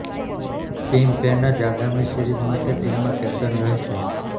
team Paine જ આગામી series માટે ટીમમાં કેપ્ટન રહેશે